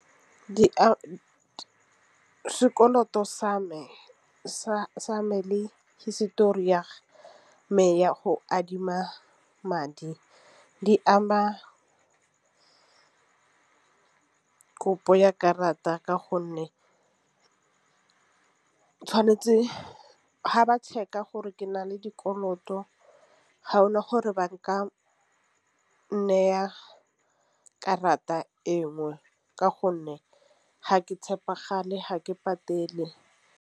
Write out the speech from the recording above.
Sekoloto sa me le hisetori ya me ya go adima madi di ama, kopo ya karata ka gonne ke tšhwanetse ha ba check-a gore ke na le dikoloto ga ona gore ba nka naya karata engwe ka gonne ga ke tšhepagale ga ke patele.